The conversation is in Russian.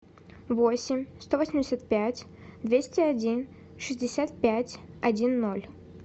восемь сто восемьдесят пять двести один шестьдесят пять один ноль